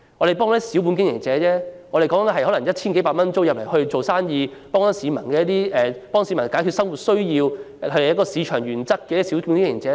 這些都是小本經營者，每個月繳交 1,000 多元租金在此做生意，為市民解決生活所需，是符合市場原則的小本經營者。